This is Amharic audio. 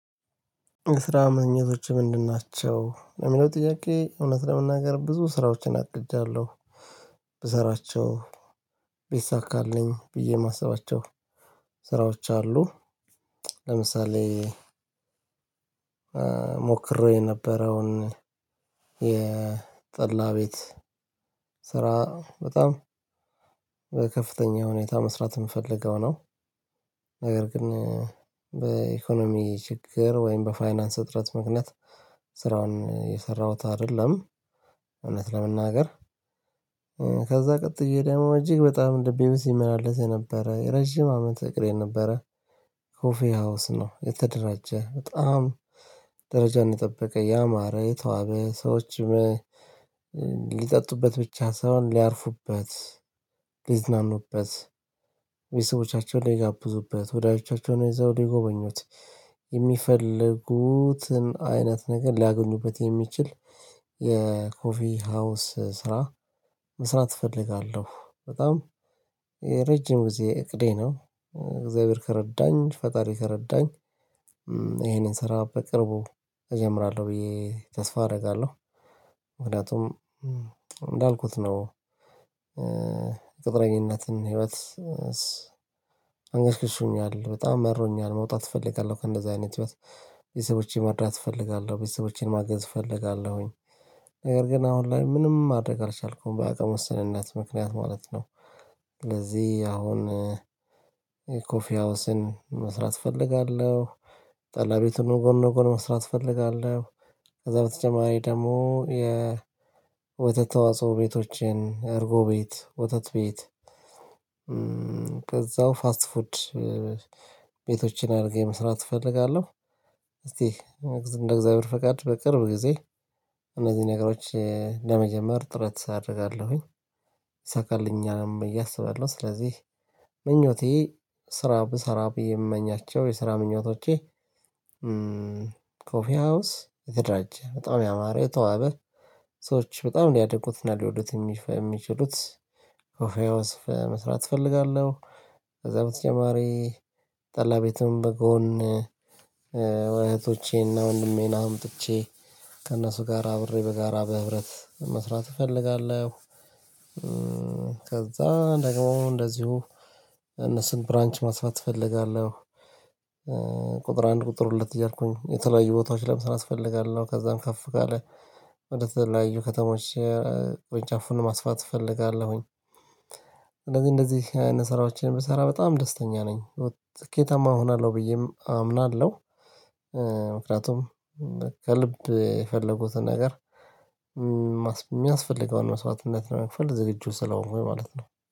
ስራ ማግኘቶችህ ምንድን? ናቸው የሚለው ጥያቄ እውነት ለመናገር ብዙ ስራዎችን አግጃለሁ ብሰራቸው ቢሳካልኝ ብዬ ማሰባቸው ስራዎች አሉ። ለምሳሌ ሞክሬው የነበረውን የጠላ ቤት ስራ በጣም በከፍተኛ ሁኔታ መስራት የምፈልገው ነው። ነገር ግን በኢኮኖሚ ችግር ወይም በፋይናንስ እጥረት ምክንያት ስራውን የሰራሁት አይደለም። እውነት ለመናገር ከዛ ቀጥዬ ደግሞ እጅግ በጣም እንደ ቤቴ እመላለስ የነበረ ረጅም አመት እቅዴ ነበረ። ሀውስ ነው የተደራጀ በጣም ደረጃ እንደጠበቀ ያማረ የተዋበ ሰዎችም ሊጠጡበት ብቻ ሳይሆን ሊያርፉበት ሊዝናኑበት የሰዎቻቸውን ሚጋብዙበት ወዳጆቻቸውን ይዘው የጎበኙት የሚፈልጉትን አይነት ነገር ሊያገኙበት የሚችል የኮፊ ሀውስ ስራ መስራት እፈልጋለሁ። በጣም የረጅም ጊዜ እቅዴ ነው እግዚአብሔር ከረዳኝ ፈጣሪ ከረዳኝ ይሄንን ስራ በቅርቡ እጀምራለሁ ብዬ ተስፋ አደርጋለሁ። ምክንያቱም እንዳልኩት ነው። ቅጥረኝነትን ህይወት አንገሽግሾኛል በጣም መሮኛል መውጣት እፈልጋለሁ ከእንደዚህ አይነት ህይወት ቤተሰቦቼን መርዳት እፈልጋለሁ ቤተሰቦቼን ማገዝ እፈልጋለሁኝ። ነገር ግን አሁን ላይ ምንም ማድረግ አልቻልኩም በአቅም ውስንነት ምክንያት ማለት ነው። ለዚህ አሁን ኮፊ ሀውስን መስራት እፈልጋለሁ። ጠላ ቤቱን ጎን ለጎን መስራት እፈልጋለሁ። ከዛ በተጨማሪ ደግሞ የወተት ተዋጽኦ ቤቶችን እርጎ ቤት ወተት ቤት ፋስት ፉድ ቤቶችን አድርጌጨመስራት እፈልጋለሁ። እስቲ እንደ እግዚአብሔር ፈቃድ በቅርብ ጊዜ እነዚህ ነገሮች ለመጀመር ጥረት አደርጋለሁኝ። ይሳካልኛልም ብየ አስባለሁ ስለዚህ ምኞቴ ስራ ብሰራ ብዬ የምመኛቸው የስራ ምኞቶቼ። ኮፊ ሀውስ የተደራጀ በጣም ያማረ የተዋበ ሰዎች በጣም ሊያደንቁትና ሊወዱት የሚችሉት ኮፊ ሀውስ መስራት እፈልጋለሁ። ከዛ በተጨማሪ ጠላ ቤትም በጎን እህቶቼና ወንድሜን አምጥቼ ከእነሱ ጋር አብሬ በጋራ በህብረት መስራት እፈልጋለሁ። ከዛ ደግሞ እንደዚሁ እነሱን ብራንች ማስፋት እፈልጋለሁ። ቁጥር አንድ ቁጥር ሁለት እያልኩኝ የተለያዩ ቦታዎች ላይ ምን እፈልጋለሁ? ከዛም ከፍ ካለ ወደ ተለያዩ ከተሞች ቁጭ አፉን ማስፋት እፈልጋለሁኝ። እንደዚህ እንደዚህ አይነት ስራዎችን ብሰራ በጣም ደስተኛ ነኝ ስኬታማ እሆናለሁ ብዬም አምናለሁ። ምክንያቱም ከልብ የፈለጉትን ነገር የሚያስፈልገውን መስዋዕትነት ለመክፈል ዝግጁ ስለሆንኩኝ ማለት ነው